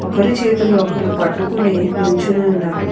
ఒకరి చేతులు ఒకరు పట్టుకొని నిల్చొని ఉన్నారు.